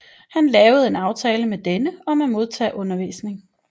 Han lavede en aftale med denne om at modtage undervisning